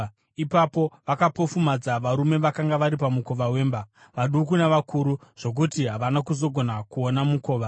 Ipapo vakapofumadza varume vakanga vari pamukova wemba, vaduku navakuru, zvokuti havana kuzogona kuona mukova.